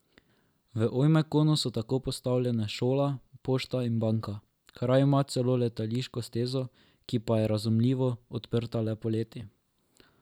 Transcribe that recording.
V Ojmjakonu so tako postavljene šola, pošta in banka, kraj ima celo letališko stezo, ki pa je, razumljivo, odprta le poleti.